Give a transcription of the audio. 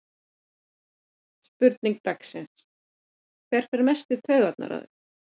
Spurning dagsins: Hver fer mest í taugarnar á þér?